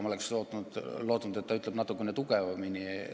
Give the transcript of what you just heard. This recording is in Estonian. Ma oleks lootnud, et ta ütleb natukene tugevamini.